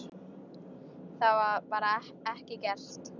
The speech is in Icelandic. Það var bara ekki gert.